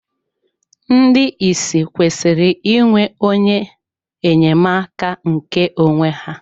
Ndị ìsì kwesịrị ịnwe onye enyemaka nke onwe ha..